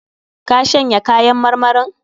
Ka shanya kayan marmarin?